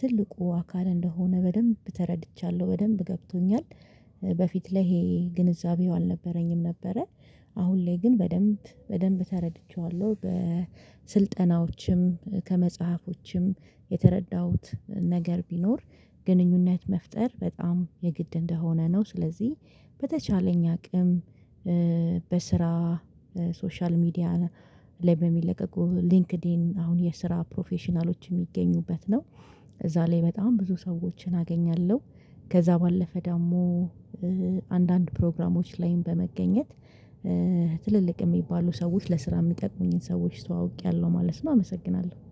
ትልቁ አካል እንደሆነ በደንብ ተረድቻለሁ በደንብ ገብቶኛል። በፊት ላይ ይሄ ግንዛቤው አልነበረኝም ነበረ። አሁን ላይ ግን በደንብ በደንብ ተረድቼዋለሁ። በስልጠናዎችም ከመጽሐፎችም የተረዳሁት ነገር ቢኖር። ግንኙነት መፍጠር በጣም የግድ እንደሆነ ነው። ስለዚህ በተቻለኝ አቅም በስራ ሶሻል ሚዲያ ላይ በሚለቀቁ ሊንክድኢን አሁን የስራ ፕሮፌሽናሎች የሚገኙበት ነው እዛ ላይ በጣም ብዙ ሰዎችን አገኛለሁ። ከዛ ባለፈ ደግሞ አንዳንድ ፕሮግራሞች ላይም በመገኘት ትልልቅ የሚባሉ ሰዎች ለስራ የሚጠቅሙኝን ሰዎች ተዋውቄያለሁ ማለት ነው። አመሰግናለሁ